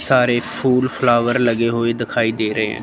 सारे फूल फ्लावर लगे हुए दिखाई दे रहे हैं।